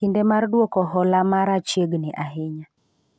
kinde mar duoko hola mara chiegni ahinya